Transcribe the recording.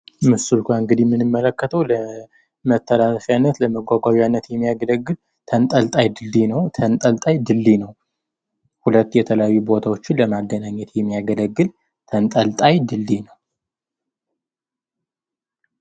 ምስሉ ጋር እንግዲህ የምንመለከተው ለመተላለፊያነት፣ ለመጓጓዣነት የሚያገለግል ተንጠልጣይ ድልድይ ነው። ሁለት የተለያዩ ቦታዎችን ለማገናኘት የሚያገለግል ተንጠልጣይ ድልድይ ነው ።